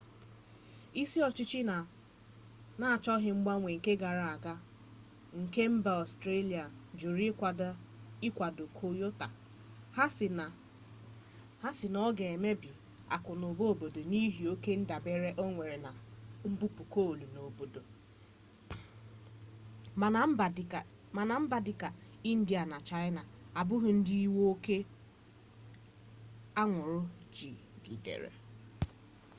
isi ọchịchị na-achọghị mgbanwe nke gara aga nke mba ọstrelia jụrụ ịkwado kyoto ha sị na ọ ga emebi akụnụba obodo n'ihi oke ndabere o nwere na mbupu coal n'obodo mana mba dịka india na chaịna abụghị ndị iwu oke anwụrụ jigidere